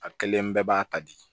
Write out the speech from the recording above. A kelen bɛɛ b'a ta di